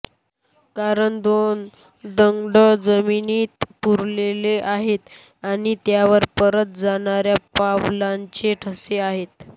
कारण दोन दग्ड जमिनीत पुरलेले आहेत आणि त्यावर परत जाणाऱ्या पावलांचे ठसे आहेत